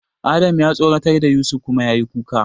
Adam ya tsoratar da Yusuf kuma yayi kuka.